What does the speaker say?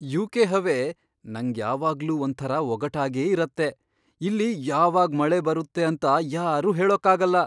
UK. ಹವೆ ನಂಗ್ ಯಾವಾಗ್ಲೂ ಒಂಥರ ಒಗಟಾಗೇ ಇರತ್ತೆ. ಇಲ್ಲಿ ಯಾವಾಗ್ ಮಳೆ ಬರುತ್ತೆ ಅಂತ ಯಾರೂ ಹೇಳೋಕಾಗಲ್ಲ.